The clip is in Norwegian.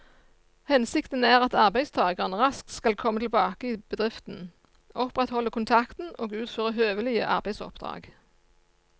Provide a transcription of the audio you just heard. Hensikten er at arbeidstakeren raskt skal komme tilbake i bedriften, opprettholde kontakten og utføre høvelige arbeidsoppdrag.